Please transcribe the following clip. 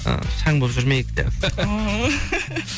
і шаң болып жүрмейік деп